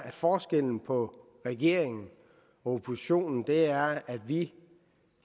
at forskellen på regeringen og oppositionen er at vi